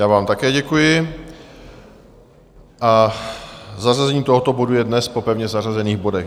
Já vám také děkuji a zařazení tohoto bodu je dnes po pevně zařazených bodech.